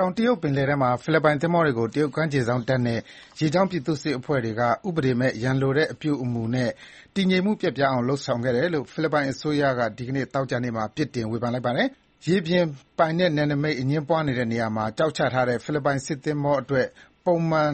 တောင်တရုတ်ပင်လယ်ထဲမှာ ဖိလစ်ပိုင်သင်္ဘောတွေကို တရုတ်ကမ်းခြေစောင့်တပ်နဲ့ ရေကြောင်းပြည်သူ့စစ်အဖွဲ့တွေက ဥပဒေမဲ့ ရန်လိုတဲ့အပြုအမူနဲ့ တည်ငြိမ်မှုပျက်ပြားအောင် လုပ်ဆောင်ခဲ့တယ်လို့ ဖိလစ်ပိုင်အစိုးရက ဒီနေ့ သောကြာနေ့မှာ ပြစ်တင် ရှုတ်ချလိုက်ပါတယ်။ ရေပြင်နယ်နိမိတ်အငြင်းပွားနေတဲ့ နေရာမှာ ကျောက်ချထားတဲ့ ဖိလစ်ပိုင်စစ်သင်္ဘောအတွက် ပုံမှန်